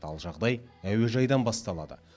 ал жағдай әуежайдан басталады